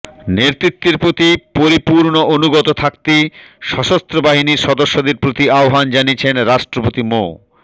নেতৃত্বের প্রতি পরিপূর্ণ অনুগত থাকতে সশস্ত্র বাহিনীর সদস্যদের প্রতি আহ্বান জানিয়েছেন রাষ্ট্রপতি মো